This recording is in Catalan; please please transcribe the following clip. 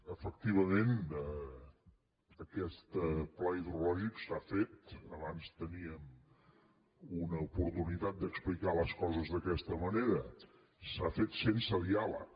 efectivament aquest pla hidrològic s’ha fet abans teníem una oportunitat d’explicar les coses d’aquesta manera sense diàleg